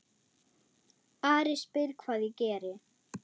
Ari spyr hvað ég geri.